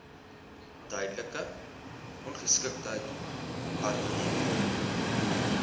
tydelike ongeskiktheid permanente